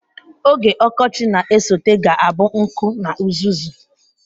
Oge ọkọchị na-esote ga-abụ nkụ na uzuzu.